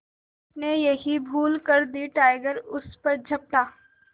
उसने यही भूल कर दी टाइगर उस पर झपटा